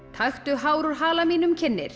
taktu hár úr hala mínum kynnir